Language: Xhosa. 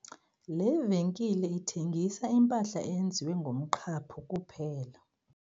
Le venkile ithengisa impahla eyenziwe ngomqhaphu kuphela.